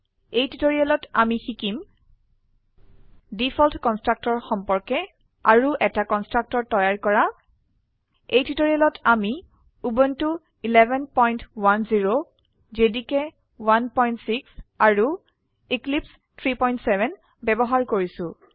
এই টিউটোৰিয়েলত আমি শিকিম ডিফল্ট কনষ্ট্ৰাক্টৰ সম্পৰ্কে আৰু এটা কনষ্ট্ৰাক্টৰ তৈয়াৰ কৰা এই টিউটোৰিয়েলত আমি উবুন্টু 1110 জেডিকে 16 আৰু এক্লিপছে 37 ব্যবহাৰ কৰিছো